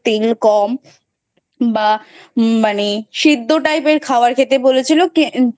তেল কম বা মানে সিদ্ধ Type এর খাবার খেতে বলেছিলো